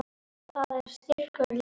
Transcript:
Og það er styrkur liðsins